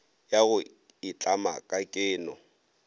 ya go itlama ka keno